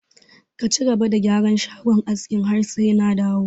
Ka cigaba da gyaran shagon askin har sai na dawo!